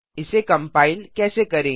इसे कंपाइल कैसे करें